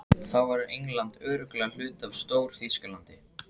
Þá verður England örugglega hluti af Stór-Þýskalandi.